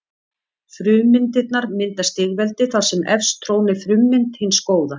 Frummyndirnar mynda stigveldi þar sem efst trónir frummynd hins góða.